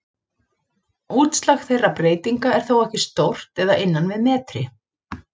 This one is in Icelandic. Útslag þeirra breytinga er þó ekki stórt eða innan við metri.